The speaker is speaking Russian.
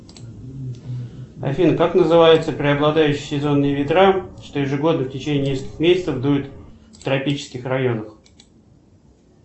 афина как называются преобладающие сезонные ветра что ежегодно в течение нескольких месяцев дуют в тропических районах